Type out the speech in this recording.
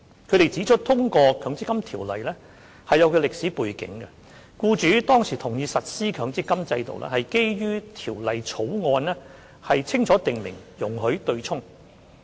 他們指出，通過《強制性公積金計劃條例草案》是有其歷史背景，僱主當時同意實施強積金制度，是基於條例草案清楚訂明容許作出對沖安排。